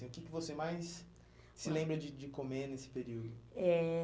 assim, o que que você mais se lembra de de comer nesse período? Eh